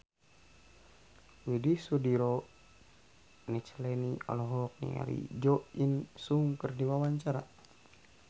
Widy Soediro Nichlany olohok ningali Jo In Sung keur diwawancara